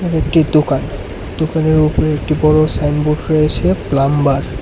দুটি দোকান দোকানের উপরে একটি বড় সাইনবোর্ড রয়েছে প্লাম্বার --